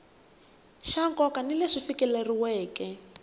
xa nkoka na leswi fikeleriweke